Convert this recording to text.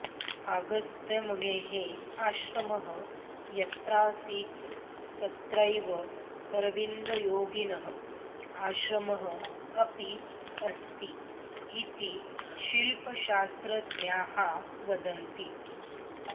अगस्त्यमुनेः आश्रमः यत्रासीत् तत्रैव अरविन्दयोगिनः आश्रमः अपि अस्ति इति शिल्पशास्त्रज्ञाः वदन्ति